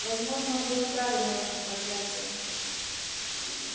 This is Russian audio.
возможно он был вправе наложить проклятие